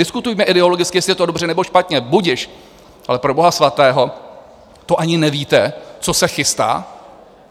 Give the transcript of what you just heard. Diskutujme ideologicky, jestli je to dobře, nebo špatně, budiž, ale pro boha svatého, to ani nevíte, co se chystá?